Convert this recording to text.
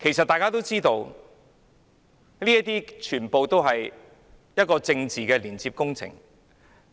大家都知道，這些都是政治工程。